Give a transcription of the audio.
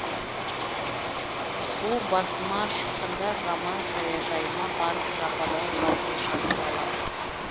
у басыма шыққанда жаман саяжайыма барып жападан жалғыз жатып алам